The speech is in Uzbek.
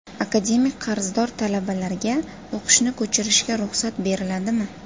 Akademik qarzdor talabalarga o‘qishni ko‘chirishga ruxsat beriladimi?